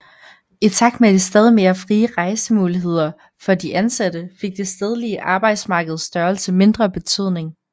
I takt med de stadigt mere frie rejsemuligheder for de ansatte fik det stedlige arbejdsmarkeds størrelse mindre betydning